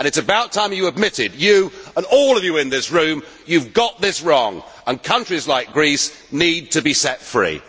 It is about time that you admitted you and all of you in this room that you have got this wrong and countries like Greece need to be set free.